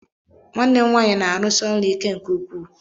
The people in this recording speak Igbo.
Nwanne m nwaanyị na-arụsi ọrụ ike nke ukwuu.